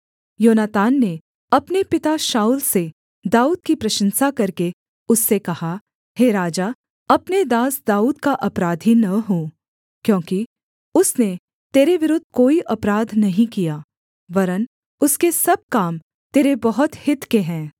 योनातान ने अपने पिता शाऊल से दाऊद की प्रशंसा करके उससे कहा हे राजा अपने दास दाऊद का अपराधी न हो क्योंकि उसने तेरे विरुद्ध कोई अपराध नहीं किया वरन् उसके सब काम तेरे बहुत हित के हैं